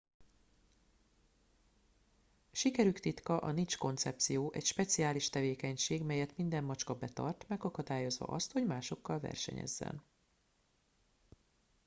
sikerük titka a niche koncepció egy speciális tevékenység melyet minden macska betart megakadályozva azt hogy másokkal versenyezzen